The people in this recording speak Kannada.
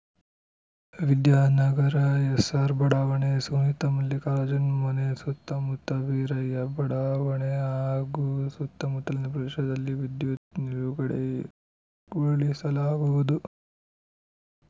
ವಿದ್ಯಾನಗರ ಎಸ್‌ಆರ್‌ ಬಡಾವಣೆ ಸುನಿತಾ ಮಲ್ಲಿಕಾರ್ಜುನ್‌ ಮನೆ ಸುತ್ತಮುತ್ತ ವೀರಯ್ಯ ಬಡಾವಣೆ ಹಾಗೂ ಸುತ್ತಮುತ್ತಲಿನ ಪ್ರದೇಶದಲ್ಲಿ ವಿದ್ಯುತ್‌ ನಿಲುಗಡೆಗೊಳಿಸಲಾಗುವುದು